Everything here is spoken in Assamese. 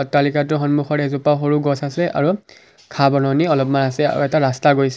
অট্টালিকাটোৰ সন্মুখত এজোপা সৰু গছ আছে আৰু ঘাঁহ বননি অলমান আছে আৰু এটা ৰাস্তা গৈছে।